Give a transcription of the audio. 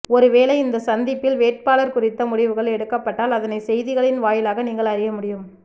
ஒருவேளை இந்தச்சந்திப்பில் வேட்பாளர் குறித்த முடிவுகள் எடுக்கப்பட்டால் அதனை செய்திகளின் வாயிலாக நீங்கள் அறிய முடியும்